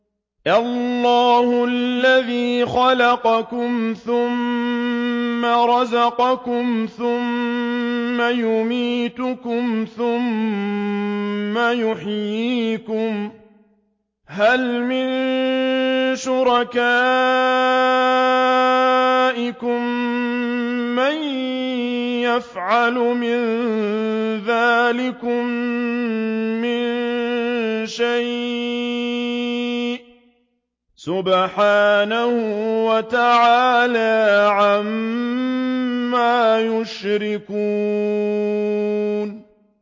اللَّهُ الَّذِي خَلَقَكُمْ ثُمَّ رَزَقَكُمْ ثُمَّ يُمِيتُكُمْ ثُمَّ يُحْيِيكُمْ ۖ هَلْ مِن شُرَكَائِكُم مَّن يَفْعَلُ مِن ذَٰلِكُم مِّن شَيْءٍ ۚ سُبْحَانَهُ وَتَعَالَىٰ عَمَّا يُشْرِكُونَ